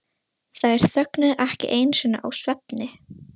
Þær þögnuðu ekki einu sinni í svefni.